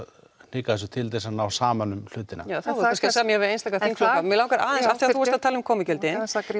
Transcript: hnikað þessu til að ná saman um hlutina þá er kannski hægt að semja við einstaka þingflokka mig langar aðeins þú varst að tala um komugjöldin